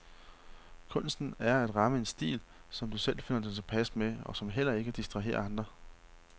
Kunsten er at ramme en stil, som du selv finder dig tilpas med, og som heller ikke distraherer andre.